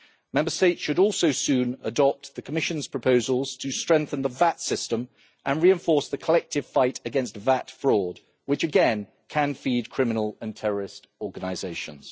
Member States should also soon adopt the Commission's proposals to strengthen the VAT system and reinforce the collective fight against VAT fraud, which again can feed criminal and terrorist organisations.